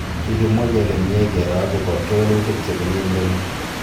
Kikimwa kele mie kero akobo kewelutik chebunei murenik